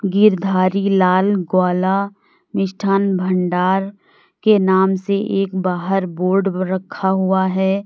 गिरधारी लाल ग्वाला मिष्ठान भंडार के नाम से एक बाहर बोर्ड रखा हुआ है।